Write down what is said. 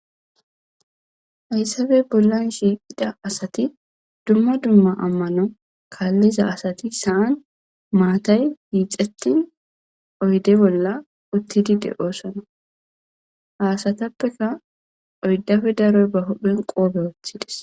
Haysappe bollan shiqida asat dumma dumma amano kaliza asat issi san matay hixetin oyde bolla utid de'osona. Ha asatappeka oyddappe daroy ba huphen qope wothides.